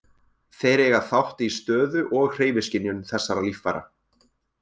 Þeir eiga þátt í stöðu- og hreyfiskynjun þessara líffæra.